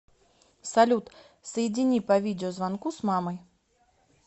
салют соедини по видеозвонку с мамой